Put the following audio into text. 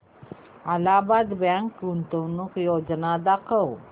Allahabad bank गुंतवणूक योजना दाखव